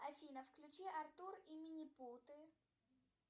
афина включи артур и минипуты